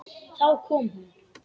Þá kom hún.